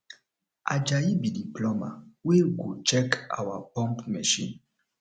ajayi be the plumber wey go check our pump machine